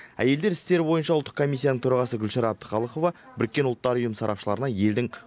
әйелдер істері бойынша ұлттық комиссияның төрағасы гүлшара әбдіқалықова біріккен ұлттар ұйым сарапшыларына елдің